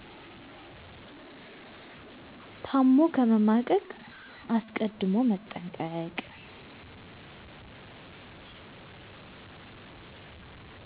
ታሞ ከመማቀቅ አስቀድሞ መጠንቀቅ